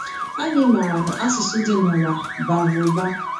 Anyị maara na asụsụ dị nụwa bara ụba.